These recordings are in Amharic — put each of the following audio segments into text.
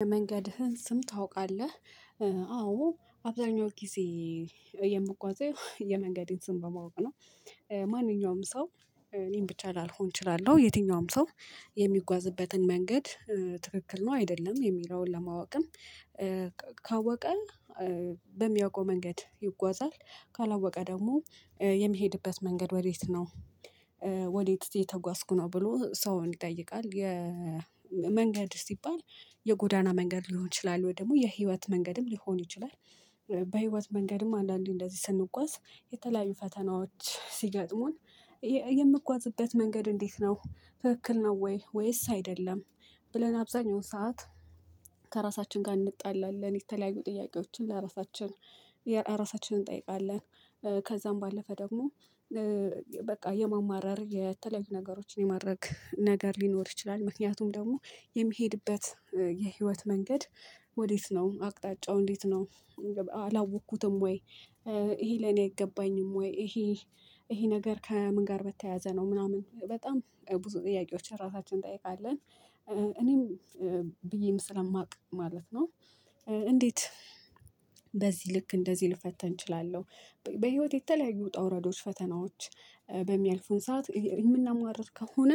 የመንገድህን ስም ታውቃለህ? አዎ አብዛኛው ጊዜ የምጓዘው የመንገዴን ስም በማወቅ ነው። ማንኛውም ሰው እኔም ብቻ ላልሆን እችላለሁ። የትኛውም ሰው የምጕዝበትን መንገድ ትክክል ነው አይደለም የሚለውን ለማወቅም። ካወቀ በምያውቀው መንገድ ይጓዛል። ካላወቀ ደግሞ የሚሄድበት መንገድ ወዴት ነው? ወዴት እየተጓዝኩ ነው ብሎ ሰውን ይጠይቃል። የመንገድ ሲባል የጎዳና መንገድ ሊሆን ይችላል? ወይ ደግሞ የህይወት መንገድም ሊሆን ይችላል። በህይወት መንገድም አንዳንዴ እንደዚህ ስንጓዝ የተለያዩ ፈተናዎች ሲገጥሙን። የምጓዝበት መንገድ እንዴት ነው ትክክል ነው ወይ ወይስ አይደለም? ብለን አብዛኛው ሰዓት ከራሳችን ጋር እንጣላለን የተለያዩ ጥያቄዎችን ለራሳችን ራሳችንን እንጠይቃለን። ከዛም ባለፈ ደግሞ በቃ የማማረር የተለያዩ ነገሮችን የማድረግ ነገር ሊኖር ይችላል። ምክንያቱም ደግሞ የሚሄድበት የህይወት መንገድ ወዴት ነው አቅጣጫው እንዴት ነው? አላወቅኩትም ወይ ይሄ ላእኔ አይገባኝም? ወይ ይሄ ይሄ ነገር ከምን ጋር በተያያዘ ነው? ምናምን በጣም ብዙ ጥያቄዎች ራሳችንን እንጠይቃለን። እኔም ብዬም ስለማውቅ ማለት ነው። እንዴት በዚህ ልክ እንደዚህ ልፈተን እችላለሁ? በህይወት የተለያዩ ውጣውረዶች ፈተናዎች በሚያልፉን ሰዓት የምናማርር ከሆነ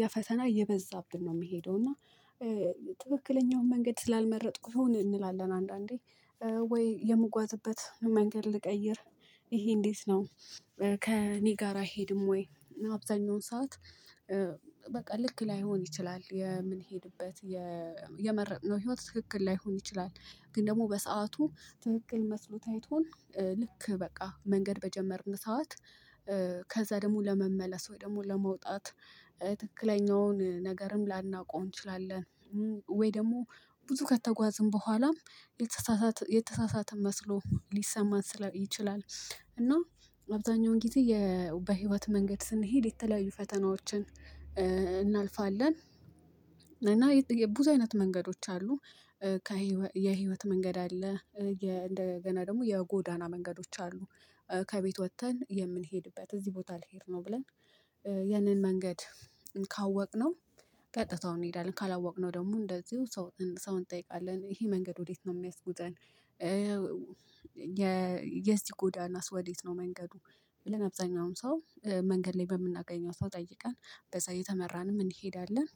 ያ ፈተና እየበዛብን ነው የሚሄደው እና። ትክክለኛውን መንገድ ስላልመረጥኩ ይሁን እንላለን። አንዳንዴ ወይ የምጓዝበት መንገድ ልቀይር ይሄ እንዴት ነው? ከእኔ ጋር አይሄድም ወይ? አብዛኛውን ሰዓት በቃ ልክ ላይሆን ይችላል የምንሄድበት የመረጥነው ህይወት ትክክል ላይሆን ይችላል። ግን ደግሞ በሰአቱ ትክክል መስሎ ታይቶን ልክ በቃ መንገድ በጀመርን ሰዓት። ከዛ ደግሞ ለመመለስ ወይ ደግሞ ለመውጣት ትክክለኛውን ነገርም ላናውቀው እንችላለን። ወይ ደግሞ ብዙ ከተጓዝን በኋላም የተሳሳተ የተሳሳተ መስሎ ሊሰማን ስለይ ይችላል። እና አብዛኛው ጊዜ የ በህይወት መንገድ ስንሄድ የተለያዩ ፈተናዎችን እናልፋለን። እና የብዙ አይነት መንገዶች አሉ። ከሕይወት የህይወት መንገድ አለ እንደገና ደግሞ የጎዳና መንገዶች አሉ። ከቤት ወጥተን የምንሄድበት እዚህ ቦታ ልሄድ ነው ብለን። ያንን መንገድ ካወቅነው ቀጥታውን እንሄዳለን። ካላወቅነው ደግሞ እንደዚሁ ሰው እንጠይቃለን ይሄ መንገድ ወዴት ነው የሚያስጉዘን? የዚህ ጎዳናስ ወዴት ነው መንገዱ? ብለን አብዛኛውን ሰው መንገድ ላይ በምናገኘው ሰው ጠይቀን በዛ እየተመራንም እንሄዳለን።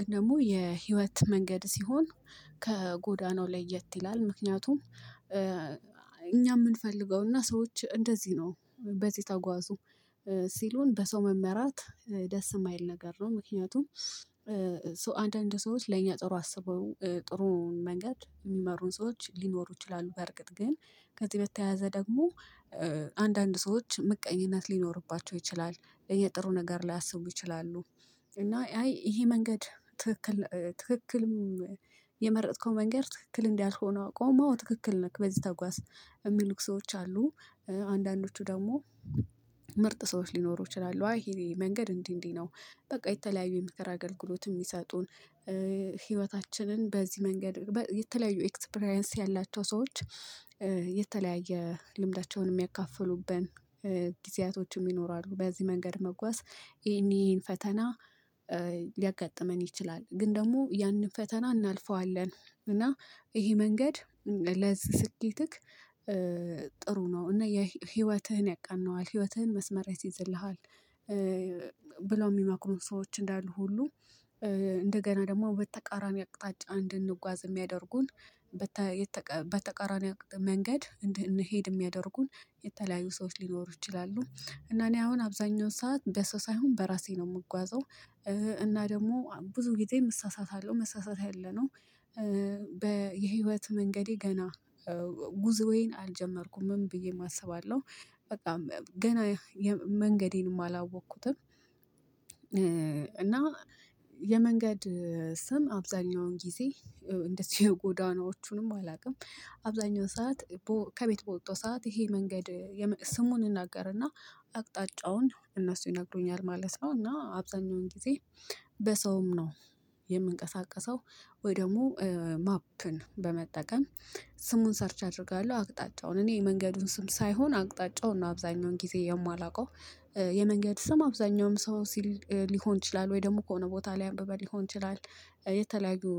ግን ደግሞ የህይወት መንገድ ሲሆን ከጎዳናው ላይት ይላል ምክንያቱም። እኛ የምንፈልገውና ሰዎች እንደዚህ ነው በዚህ ተጓዙ። ሲሉን በሰው መመራት ደስ የማይል ነገር ነው። ምክንያቱም ሶ አንዳንድ ሰዎች ለኛ ጥሩ አስበው ጥሩን መንገድ የሚመሩን ሰዎች ሊኖሩ ይችላሉ። በእርግጥ ግን ከዚህ በተያያዘ ደግሞ አንዳንድ ሰዎች ምቀኝነት ሊኖርባቸው ይችላል። የጥሩ ነገር ላያስቡ ይችላሉ። እና አይ ይሄ መንገድ ትክክል ትክክልም የመረጥከው መንገድ ትክክል እንዲልሆነ አውቀውም ትክክል ነክ በዚህ ተጓዝ የሚሉክ ሰዎች አሉ። አንዳንዶቹ ደግሞ ምርጥ ሰዎች ሊኖሩ ይችላሉ አይ ይሄ መንገድ እንዲህ እንዲህ ነው። በቃ የተለያዩ የምክር ከራ አገልግሎት የሚሰጡን። ህይወታችንን በዚህ መንገድ የተለያዩ ኤክስፕሪያንስ ያላቸው ሰዎች። የተለያየ ልምዳቸውን የሚያካፍሉብን ጊዜያቶችም ይኖራሉ። በዚህ መንገድ መጓዝ ይሄን ይሄን ፈተና ሊያጋጥመን ይችላል ግን ደግሞ ያንን ፈተና እናልፈዋለን። እና ይሄ መንገድ ለዚህ ስኬትክ ጥሩ ነው እና የህይወትህን ያቃነዋል ህይወትህን መስመር ያስይዝልሃል። ብለው የሚማክሩን ሰዎች እንዳሉ ሁሉ እንደገና ደግሞ በተቃራኒ አቅጣጫ እንድንጓዝ የሚያደርጉን በተቃራኒው መንገድ እንድንሄድ የሚያደርጉን የተለያዩ ሰዎች ሊኖሩ ይችላሉ። እና እኔ አሁን አብዛኛው ሰዓት በሰው ሳይሆን በራሴ ነው የምጓዘው። እና ደግሞ ብዙ ጊዜ እሳሳታለሁ መሳሳት ያለ ነው። በ የህይወት መንገዴ ገና አልጀመርኩም ብዬ ማሰብ አለው። በቃ ገና መንገዴንም አላወቅኩትም። እና የመንገድ ስም አብዛኛውን ጊዜ እንደዚህ የጎዳናዎቹንም አላውቅም። አብዛኛው ሰዓት ከቤት በወጣው ሰዓት ይሄ መንገድ ስሙን እናገርና። አቅጣጫውን እነሱ ይነግሩኛል ማለት ነው። እና አብዛኛውን ጊዜ በሰውም ነው። የምንቀሳቀሰው ወይ ደግሞ ማፕን በመጠቀም ስሙን ሰርች አደርጋለሁ። አቅጣጫውን እኔ የመንገዱን ስም ሳይሆን አቅጣጫውን ነው አብዛኛውን ጊዜ የማላውቀው። የመንገድ ስም አብዛኛውን ሰው ሊሆን ይችላል ወይ ደግሞ ከሆነ ቦታ አንብበን ሊሆን ይችላል። የተለያዩ